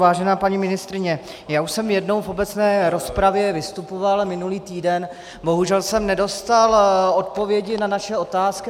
Vážená paní ministryně, já už jsem jednou v obecné rozpravě vystupoval minulý týden, bohužel jsem nedostal odpovědi na naše otázky.